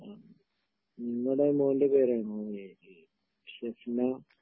മ്ഹ് നിങ്ങളെ മോന്റെ പേരാണോ ഈ ഷഫ്ന